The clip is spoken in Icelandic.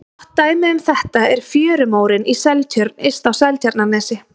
Gott dæmi um þetta er fjörumórinn í Seltjörn yst á Seltjarnarnesi.